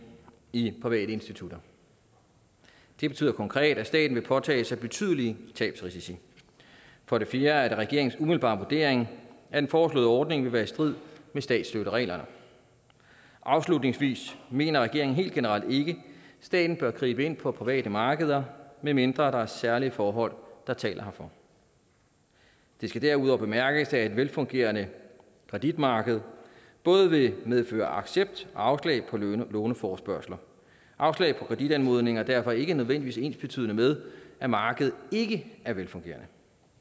i private institutter det betyder konkret at staten vil påtage sig betydelige tabsrisici for det fjerde er det regeringens umiddelbare vurdering at den foreslåede ordning vil være i strid med statsstøttereglerne afslutningsvis mener regeringen helt generelt ikke at staten bør gribe ind på private markeder medmindre der er særlige forhold der taler herfor det skal derudover bemærkes at et velfungerende kreditmarked både vil medføre accept af og afslag på låneforespørgsler afslag på kreditanmodninger er derfor ikke nødvendigvis ensbetydende med at markedet ikke er velfungerende